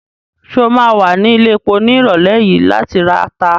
Ṣé o ma wà ní ilẹ̀epo ní ìrọ̀lẹ́ yìí láti rata?